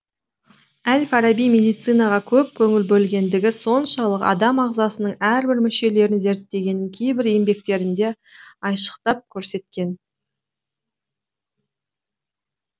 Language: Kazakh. әл фараби медицинаға көп көңіл бөлгендігі соншалық адам ағзасының әрбір мүшелерін зерттегенін кейбір еңбектерінде айшықтап көрсеткен